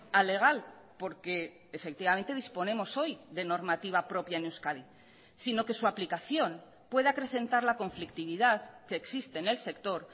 alegal porque efectivamente disponemos hoy de normativa propia en euskadi sino que su aplicación pueda acrecentar la conflictividad que existe en el sector